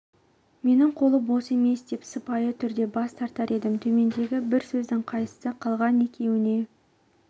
менің қолым бос емес деп сыпайы түрде бас тартар едім төмендегі бір сөздің қайсысы қалған екеуіне